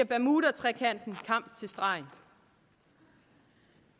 bermudatrekanten kamp til stregen